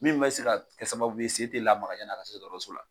Min bɛ se ka kɛ sababu sen tɛ lamaka yani a ka se dɔgɔtɔrɔso la.